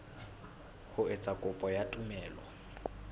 ho etsa kopo ya tumello